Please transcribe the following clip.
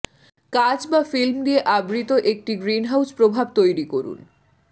কাচ বা ফিল্ম দিয়ে আবৃত একটি গ্রিনহাউজ প্রভাব তৈরি করুন